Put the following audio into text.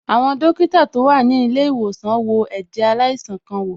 Àwọn dókítà tó wà ní ilé ìwòsàn wo ẹ̀jẹ̀ aláìsàn kan wò.